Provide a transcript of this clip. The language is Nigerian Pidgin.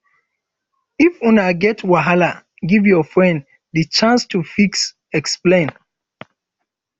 if una get wahala give your friend di chance to fit explain